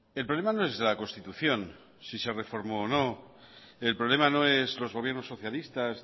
el problema no es la constitución si se reformó o no el problema no es los gobiernos socialistas